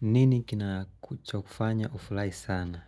Nini kina kuchofanya ufulai sana?